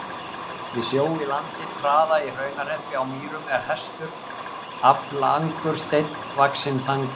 Við sjó í landi Traða í Hraunhreppi á Mýrum er Hestur, aflangur steinn vaxinn þangi.